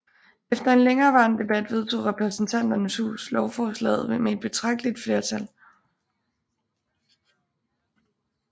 Efter en længerevarende debat vedtog Repræsentanternes Hus lovforslaget med et betragteligt flertal